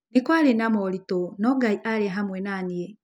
Nĩ kwarĩ na moritũ no Ngai aarĩ hamwe na niĩ.